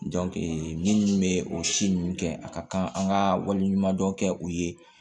minnu bɛ o si ninnu kɛ a ka kan an ka wale ɲumandɔn kɛ u ye